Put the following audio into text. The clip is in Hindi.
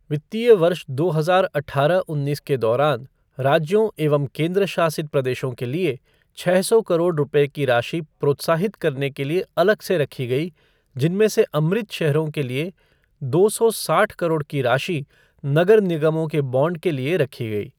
वित्तीय वर्ष दो हजार अठारह उन्नीस के दौरान, राज्यों एंव केन्द्रशासित प्रदेशओं के लिए छः सौ करोड़ रुपए की राशि प्रोत्साहित करने के लिए अलग से रखा गया जिनमें से अमृत शहरों के लिए दो सौ साठ करोड़ की राशि नगर निगमों के बॉन्ड के लिए रखा गया।